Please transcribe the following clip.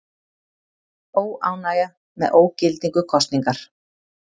Óánægja með ógildingu kosningar